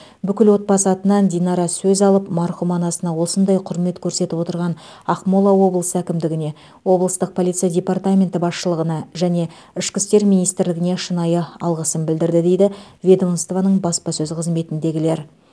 бүкіл отбасы атынан динара сөз алып марқұм анасына осындай құрмет көрсетіп отырған ақмола облысы әкімдігіне облыстық полиция департаменті басшылығына және ішкі істер министрлігіне шынайы алғысын білдірді дейді ведомствоның баспасөз қызметіндегілер